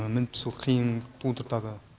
мініп түсу қиын тудыртады